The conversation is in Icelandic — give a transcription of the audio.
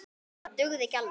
Það dugði ekki alveg.